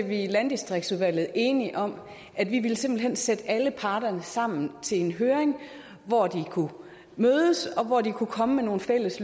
vi i landdistriktsudvalget enige om at vi simpelt hen ville sætte alle parter sammen til en høring hvor de kunne mødes og hvor de kunne komme med nogle fælles